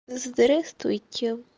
здравствуйте